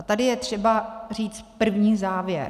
A tady je třeba říct první závěr.